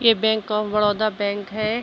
यह bank of Baroda bank है।